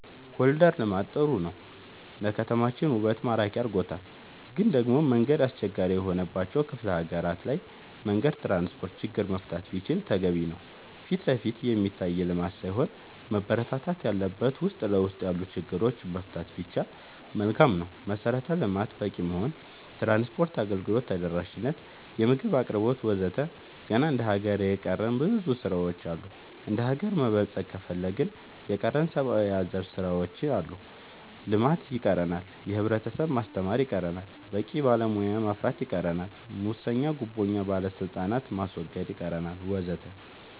ኮሊደር ልማት ጥሩ ነው ለከተማችን ውበት ማራኪ አርጎታል ግን ደሞ መንገድ አስቸጋሪ የሆነባቸው ክፍለ ሀገራት ላይ መንገድ ትራንስፖርት ችግር መፈታት ቢችል ተገቢ ነው ፊትለፊት የሚታይ ልማት ሳይሆን መበረታታት ያለበት ውስጥ ለውስጥ ያሉ ችግሮች መፍታት ቢቻል መልካም ነው መሰረተ ልማት በቂ መሆን ትራንስፓርት አገልግሎት ተደራሽ ነት የምግብ አቅርቦት ወዘተ ገና እንደ ሀገር የቀረን ብዙ ስራ ዎች አሉ እንደሀገር መበልፀግ ከፈለግን የቀረን ሰባአዊ አዘል ስራዎች አሉ ልማት ይቀረናል የህብረተሰብ ማስተማር ይቀረናል በቂ ባለሙያ ማፍራት ይቀረናል ሙሰኛ ጉቦኛ ባለስልጣናት ማስወገድ ይቀረናል ወዘተ